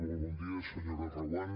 molt bon dia senyora reguant